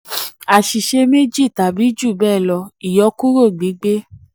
àṣìṣe méjì tàbí jù bẹ́ẹ̀ lọ: ìyọkúrò gbígbé.